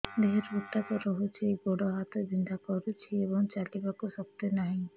ଦେହରେ ଉତାପ ରହୁଛି ଗୋଡ଼ ହାତ ବିନ୍ଧା କରୁଛି ଏବଂ ଚାଲିବାକୁ ଶକ୍ତି ନାହିଁ